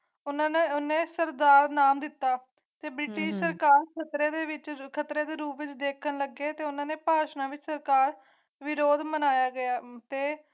ਉਹਨਾਂ ਨੇ ਸਰਦਾਰ ਨਾਮ ਦਿੱਤਾ ਕੰਧੀ ਵਹਣ ਨ ਢਾਹਿ ਤਉ ਭੀ ਸੁਰ ਖਤਰੇ ਦੇ ਰੂਪ ਨੂੰ ਦੇਖਣ ਲੱਗੇ ਉਨ੍ਹਾਂ ਨੇ ਭਾਰਤ ਸਰਕਾਰ ਨਿਰੋਲ ਮਨਾਇਆ ਗਿਆ ਤਯ